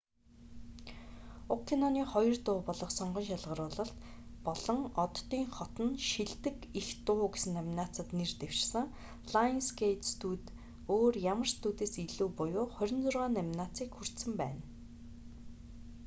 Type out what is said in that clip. уг киноны хоёр дуу болох сонгон шалгаруулалт мөрөөддөг тэнэгүүд болон оддын хот нь шилдэг эх дуу гэсэн номинацид нэр дэвшсэн. лайонсгэйт студи өөр ямар ч студиэс илүү буюу 26 номинацийг хүртсэн байна